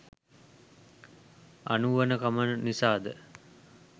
අනුවණකම නිසා ද?